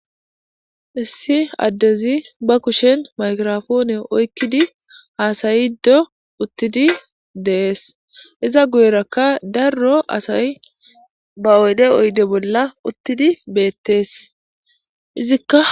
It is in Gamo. Issi addezi ba kushen maykirofoone oykkidi haasayddo uttidi dees iza guyerakka darro asay ba oyde oyde bolla uttidi beettees izikka.